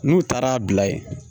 N'u taara bila yen